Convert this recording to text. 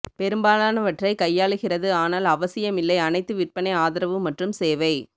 பெரும்பாலானவற்றை கையாளுகிறது ஆனால் அவசியமில்லை அனைத்து விற்பனை ஆதரவு மற்றும் சேவை